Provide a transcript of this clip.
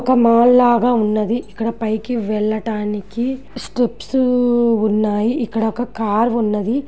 ఒక మాల్ లాగా ఉన్నది. ఇక్కడ పైకి వెళ్ళటానికి స్టెప్స్ ఉన్నాయి. ఇక్కడ ఒక కార్ ఉన్నది.